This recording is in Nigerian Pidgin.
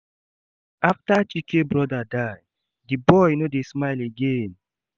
After Chike brother die, the boy no dey smile again